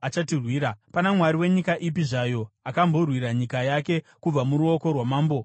Pana mwari wenyika ipi zvayo akamborwira nyika yake kubva muruoko rwamambo weAsiria?